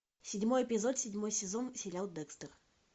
седьмой эпизод седьмой сезон сериал декстер